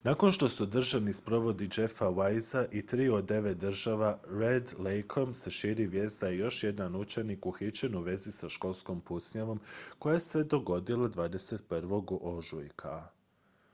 nakon što su održani sprovodi jeffa weisea i triju od devet žrtava red lakeom se širi vijest da je još jedan učenik uhićen u vezi sa školskom pucnjavom koja se dogodila 21. ožujka